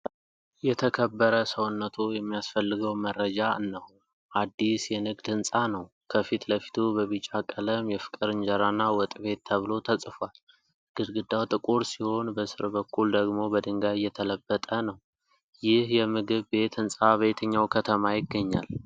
የተከበረ ሰውነትዎ የሚያስፈልገው መረጃ እነሆ። አዲስ የንግድ ህንፃ ነው። ከፊት ለፊቱ በቢጫ ቀለም 'የፍቅር እንጀራና ወጥ ቤት' ተብሎ ተጽፏል። ግድግዳው ጥቁር ሲሆን በስር በኩል ደግሞ በድንጋይ የተለበጠ ነው። ይህ የምግብ ቤት ህንፃ በየትኛው ከተማ ይገኛል?